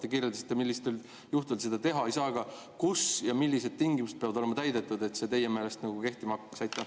Te kirjeldasite, millistel juhtudel seda teha ei saa, aga kus saab ja millised tingimused peavad olema täidetud, et see teie meelest kehtima hakkaks?